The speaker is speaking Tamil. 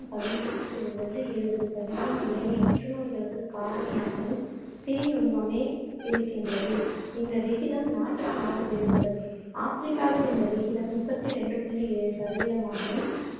பதினைஞ்சுல இருந்து இருவது சதவீதம் ஏனைய புற்றுநோய்களுக்குக் காரணியாகவும் தீ நுண்மமே இருக்கின்றது. இந்த விகிதம் நாட்டுக்கு நாடு வேறுபடும். ஆப்பிரிக்காவில் இந்த விகிதம் முப்பத்து ரெண்டு புள்ளி ஏழு சதவீதமாகவும்,